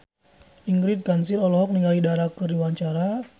Ingrid Kansil olohok ningali Dara keur diwawancara